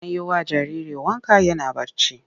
An yi wa jariri wanka yana barci.